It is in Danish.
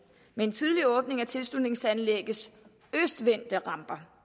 med en tidlig åbning af tilslutningsanlæggets østvendte ramper